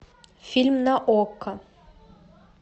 фильм на окко